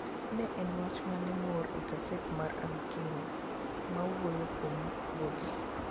Ne ane wach moro e gaset mar Amkeni! mawuoyo kuom guogi.